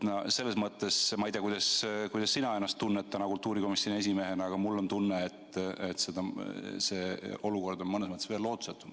Selles mõttes ma ei tea, kuidas sina kultuurikomisjoni esimehena ennast tunned, aga mul on tunne, et see olukord on mõnes mõttes veel lootusetum.